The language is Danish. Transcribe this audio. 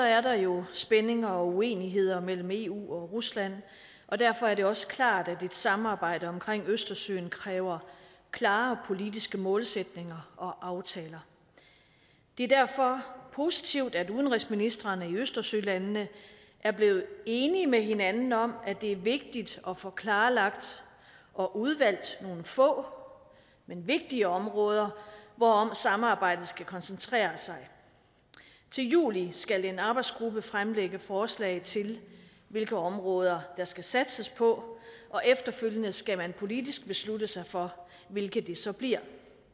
er der jo spændinger og uenigheder mellem eu og rusland og derfor er det også klart at et samarbejde omkring østersøen kræver klare politiske målsætninger og aftaler det er derfor positivt at udenrigsministrene i østersølandene er blevet enige med hinanden om at det er vigtigt at få klarlagt og udvalgt nogle få men vigtige områder hvorom samarbejdet skal koncentrere sig til juli skal en arbejdsgruppe fremlægge forslag til hvilke områder der skal satses på og efterfølgende skal man politisk beslutte sig for hvilke det så bliver